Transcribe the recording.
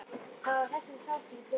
Það var þessari sál sem ég fyrirgaf.